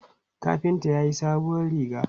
Kafinta ya sayi sabuwar riga.